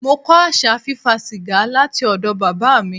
Mo kọ́ àṣà fí fa sìgá láti ọ̀dọ̀ Bàbá mi.